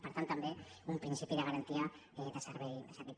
per tant també un principi de garantia de servei públic